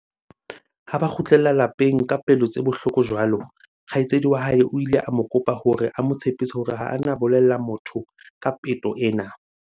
Ha ba kgutlela lapeng ka pelo tse bohloko jwalo, kgaitsedi wa hae o ile a mo kopa hore a mo tshepise hore ha a na bolella motho ka peto ena.